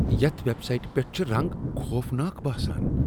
یتھ ویب سایٹہ پیٹھ چھِ رنگ خوفناک باسان ۔